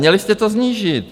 Měli jste to snížit.